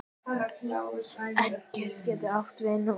Engey getur átt við um